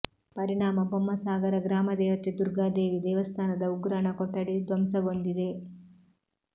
ಪರಿಣಾಮ ಬೊಮ್ಮಸಾಗರ ಗ್ರಾಮ ದೇವತೆ ದುರ್ಗಾದೇವಿ ದೇವಸ್ಥಾನದ ಉಗ್ರಾಣ ಕೊಠಡಿ ಧ್ವಂಸಗೊಂಡಿದೆ